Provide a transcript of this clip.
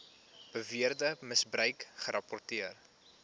beweerde misbruik gerapporteer